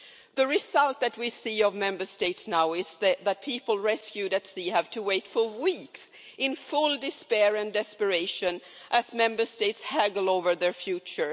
The result that we see from Member States now is that people rescued at sea have to wait for weeks in full despair and desperation as Member States haggle over their future.